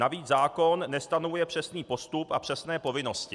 Navíc zákon nestanovuje přesný postup a přesné povinnosti.